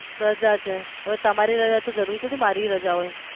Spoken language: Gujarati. રજા છે હવે તમારે રજા હોય તો જરૂરી થોડી મારીય રજા હોય